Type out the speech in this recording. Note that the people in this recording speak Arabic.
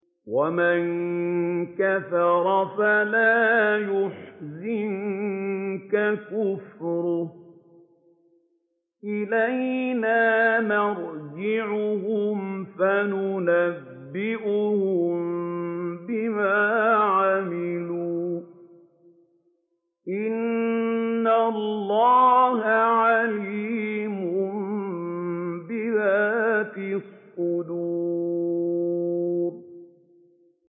وَمَن كَفَرَ فَلَا يَحْزُنكَ كُفْرُهُ ۚ إِلَيْنَا مَرْجِعُهُمْ فَنُنَبِّئُهُم بِمَا عَمِلُوا ۚ إِنَّ اللَّهَ عَلِيمٌ بِذَاتِ الصُّدُورِ